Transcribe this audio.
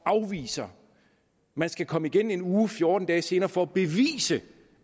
afvisninger man skal komme igen en uge til fjorten dage senere for at bevise